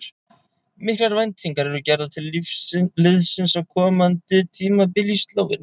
Miklar væntingar eru gerðar til liðsins á komandi tímabili í Slóveníu.